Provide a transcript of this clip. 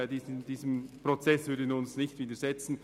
Diesem Prozess würden wir uns nicht widersetzen.